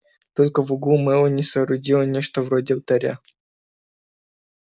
только в углу мелани соорудила нечто вроде алтаря